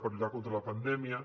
per lluitar contra la pandèmia